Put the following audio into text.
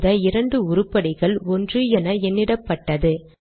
இந்த இரண்டு உருப்படிகள் ஒன்று என எண்ணிடப்பட்டது